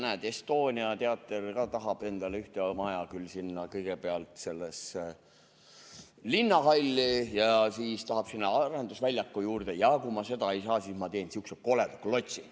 Näed, Estonia teater tahab ka endale ühte maja, küll kõigepealt linnahalli, siis sinna arendusväljaku juurde, ja kui seda ei saa, siis teeme sihukese koleda klotsi.